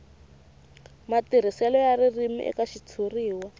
matirhiselo ya ririmi eka xitshuriwa